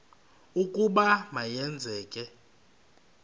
ukuba ma yenzeke